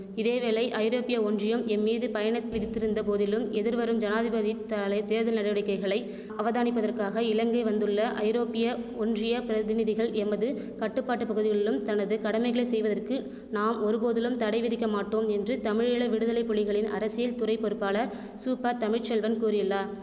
இதேவேளை ஐரோப்பிய ஒன்றியம் எம்மீது பயண விதித்திருந்தபோதிலும் எதிர்வரும் ஜனாதிபதி தாலை தேர்தல் நடவடிக்கைகளை அவதானிப்பதற்காக இலங்கை வந்துள்ள ஐரோப்பிய ஒன்றிய பிரதிநிதிகள் எமது கட்டுப்பாட்டு பகுதிகளிலும் தனது கடமைகளை செய்வதற்கு நாம் ஒருபோதிலும் தடை விதிக்கமாட்டோம் என்று தமிழீழ விடுதலை புலிகளின் அரசியல்துறை பொறுப்பாளர் சூப்ப தமிழ் செல்வன் கூறியுள்ளார்